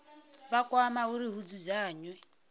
vha kwama uri hu dzudzanywe